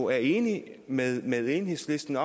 er enig med med enhedslisten